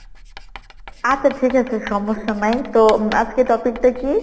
আচ্ছা ঠিক আছে সমস্যা নাই। তো আজকে topic টা কী?